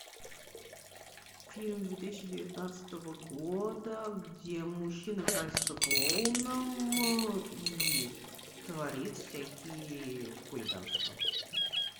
фильм две тысячи девятнадцатого года где мужчина красится клоуном и творит всякие хулиганства